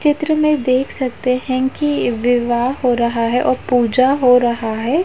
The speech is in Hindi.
चित्र में देख सकते हैं कि विवाह हो रहा है औ पूजा हो रहा है।